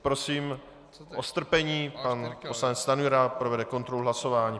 Prosím o strpení, pan poslanec Stanjura provede kontrolu hlasování.